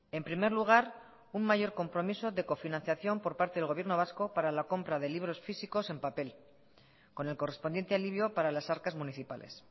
en primer lugar un mayor compromiso de cofinanciación por parte del gobierno vasco para la compra de libros físicos en papel con el correspondiente alivio para las arcas municipales